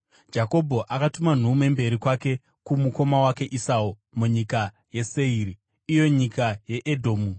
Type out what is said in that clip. Jakobho akatuma nhume mberi kwake kumukoma wake Esau munyika yeSeiri, iyo nyika yeEdhomu.